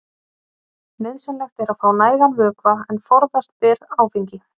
Nauðsynlegt er að fá nægan vökva en forðast ber áfengi.